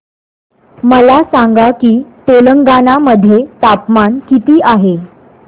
मला सांगा की तेलंगाणा मध्ये तापमान किती आहे